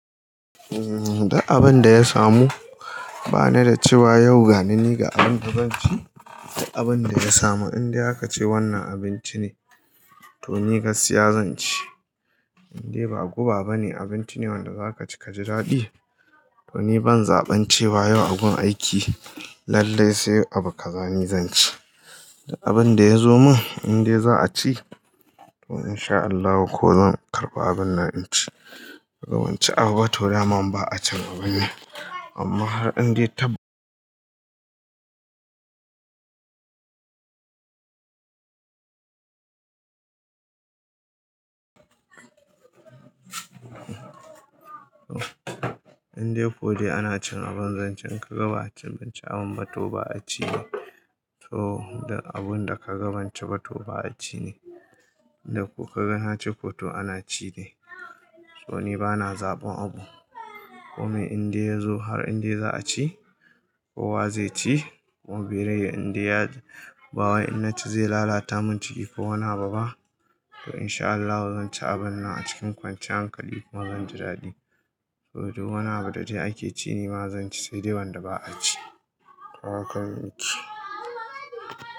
Uhm, duk abin da ya samu bana da cewa yau ga ni ga abin da zan ci da abin da ya samu. Indai aka ce wannan abinci ne, to ni ga skiya zan ci. Indai ba guba ba ne, abinci ne wanda za ka ci ka ji daɗi. To ni ban zaɓen cewa yau a gun aiki lallai sai abu ka zani zan ci. Duk abin da ya zo min indai za a ci, to in sha Allahu ko zan karɓa abun nan in ci. Gaban ci abu ba to naman ba a can abun nan. Amma har indai taɓ-. Indai ko dai ana cin abun zan ci na gaba a cin abinci abun mato ba a ci ne, to duk abun da ka gaban ci ba to ba a ci ne. Indai ko ka ga nace ko to ana ci ne. To ni bana zaɓan abu. Komai indai ya zo har indai za a ci, kowa zai ci. Kuma bai rai indai ya bawa in na ci zai lalata mun ciki ko wani abuba. To in sha Allahu zan ci abun nan a cikin kwanciya hankali kuma zan ji daɗi. To duk wani abu da dai ake ci nima zan ci saidai wanda ba'a ci. To haka mun yi ciki.